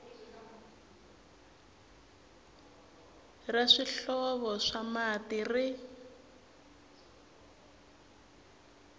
ra swihlovo swa mati ri